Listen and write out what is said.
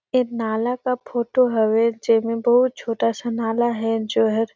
एक नाला का फोटो हवे जेमें बहुत छोटा सा नाला हे जोहर --